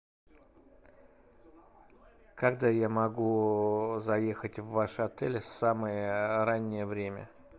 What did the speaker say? когда я могу заехать в ваш отель самое раннее время